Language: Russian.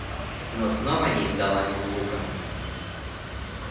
но снова не издала ни звука